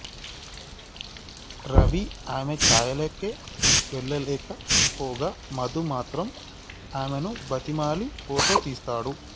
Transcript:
రవి ఆమె ఛాయలకే వెళ్ళలేకపోగా మధు మాత్రం ఆమెను బతిమాలి ఫోటో తీస్తాడు